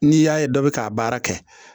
N'i y'a ye dɔ bɛ k'a baara kɛ